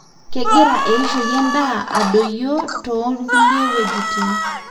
kengira eishoi endaa adoyoyio tongulie wejitin.